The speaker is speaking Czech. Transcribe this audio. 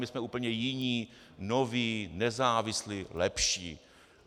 My jsme úplně jiní, noví, nezávislí, lepší."